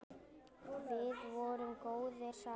Við vorum góðir saman.